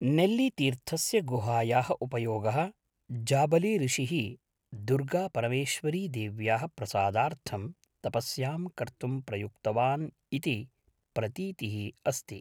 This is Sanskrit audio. नेल्लीतीर्थस्य गुहायाः उपयोगः जाबलीऋषिः दुर्गापरमेश्वरिदेव्याः प्रसादार्थं तपस्यां कर्तुं प्रयुक्तवान् इति प्रतीतिः अस्ति।